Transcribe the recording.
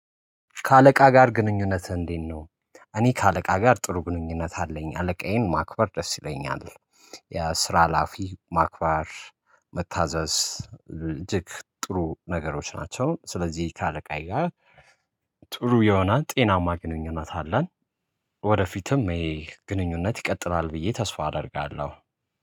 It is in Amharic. ከአለቃ ጋር ግንኙነት እንዴት ነው? እኔ ከአለቃ ጋር ጥሩ ግንኙነት አለኝ አለቃዬን ማክበር ደስ ይለኛል። የስራ አላፊ ማክባር መታዘዝ እጅግ ጥሩ ነገሮች ናቸው። ስለዚህ ከአለቃዬ ጋር ጥሩ የሆነ ጤናማ ግንኙነት አለን። ወደፊትም ይሄ ግንኙነት ይቀጥላል ብዬ ተስፋ አደርጋለሁ